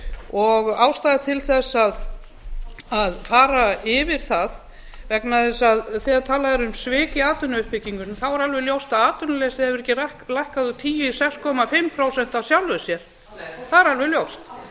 og ástæða til að fara yfir það vegna þess að þegar talað er um svik í atvinnuuppbyggingunni þá er alveg ljóst að atvinnuleysi hefur ekki lækkað úr tíu í sex og hálft prósent af sjálfu sér það er alveg ljóst